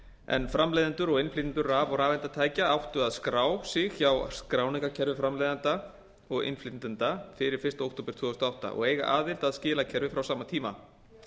en framleiðendur og innflytjendur raf og rafeindatækja áttu að skrá sig hjá skráningarkerfi framleiðenda og innflytjenda fyrir fyrsta október tvö þúsund og átta og eiga aðild að skilakerfi frá sama tíma